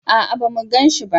a'a ba mu ganshi ba